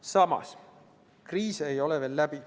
Samas, kriis ei ole veel läbi.